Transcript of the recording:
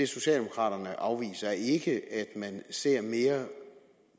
socialdemokraterne afviser ikke er at man ser mere